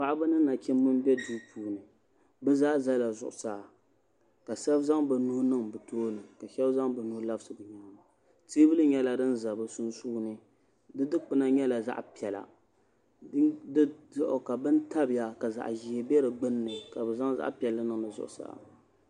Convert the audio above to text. Paɣaba ni nachimbi n bɛ duu puuni bi zaa ʒɛla zuɣusaa ka shab zaŋ bi nuu niŋ bi tooni ka shab zaŋ bi nuu labisi bi nyaanga teebuli nyɛla din za bi sunsuuni di dikpuna nyɛla zaɣ piɛla di zuɣu ka bini tabiya ka zaɣ ʒiɛ bɛ di gbunni ka bi zaŋ zaɣ piɛlli niŋ bi zuɣusaa